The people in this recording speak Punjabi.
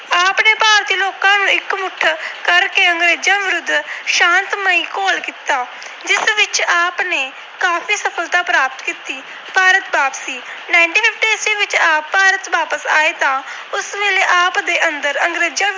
ਕਰਕੇ ਅੰਗਰੇਜਾਂ ਵਿਰੁੱਧ ਸ਼ਾਤਮਈ ਘੋਲ ਕੀਤਾ ਜਿਸ ਵਿੱਚ ਆਪ ਨੇ ਕਾਫੀ ਸਫਲਤਾ ਪ੍ਰਾਪਤ ਕੀਤੀ। ਭਾਰਤ ਵਾਪਸੀ - ਉਨੀ ਸੌ ਚੌਦਾਂ ਵਿੱਚ ਆਪ ਭਾਰਤ ਵਾਪਸ ਆਏ ਤਾਂ ਉਸ ਸਮੇਂ ਆਪ ਦੇ ਅੰਦਰ ਅੰਗਰੇਜਾਂ ਵਿਰੁੱਧ